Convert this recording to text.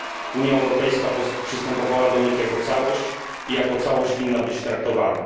Unia Europejska przystępowała do nich jako całość i jako całość winna być traktowana.